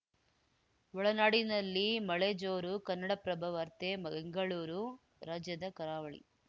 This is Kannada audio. ಒಳನಾಡಿನಲ್ಲಿ ಮಳೆ ಜೋರು ಕನ್ನಡಪ್ರಭ ವಾರ್ತೆ ಬೆಂಗಳೂರು ರಾಜ್ಯದ ಕರಾವಳಿ